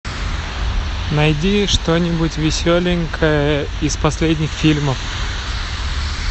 найди что нибудь веселенькое из последних фильмов